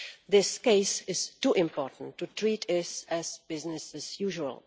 This case is too important to treat as business as usual.